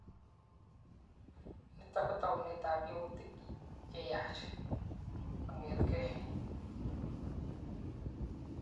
Nitok kotounet ab yautik cheyaach kongetkei.